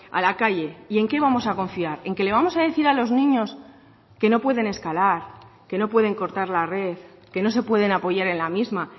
a la calle y en qué vamos a confiar en que le vamos a decir a los niños que no pueden escalar que no pueden cortar la red que no se pueden apoyar en la misma